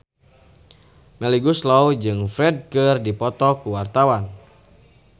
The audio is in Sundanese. Melly Goeslaw jeung Ferdge keur dipoto ku wartawan